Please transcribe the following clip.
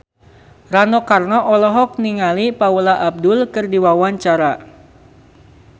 Rano Karno olohok ningali Paula Abdul keur diwawancara